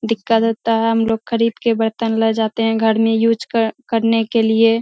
दिक्कत होता है। हमलोग खरीद के बर्तन ले जाते हैं घर में यूस कर करने के लिए।